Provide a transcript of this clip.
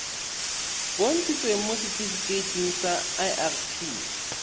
bontshitsweng mo setifikeiting sa irp